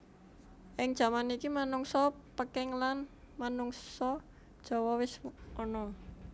Ing jaman iki manungsa Peking lan manungsa Jawa wis ana